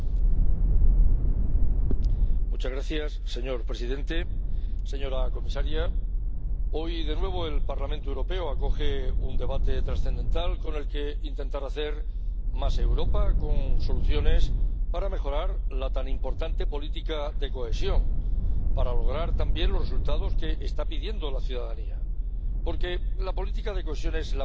Señor presidente, señora comisaria, hoy de nuevo el Parlamento Europeo acoge un debate trascendental con el que intentar hacer más Europa, con soluciones para mejorar la tan importante política de cohesión, para lograr también los resultados que está pidiendo la ciudadanía. Porque la política de cohesión es la máxima expresión de la solidaridad europea